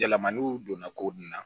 Yɛlɛmaniw donna ko nun na